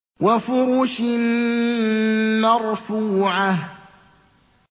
وَفُرُشٍ مَّرْفُوعَةٍ